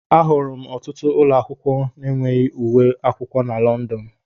Ahụrụ m ọtụtụ ụlọ akwụkwọ enweghị uwe akwụkwọ na London.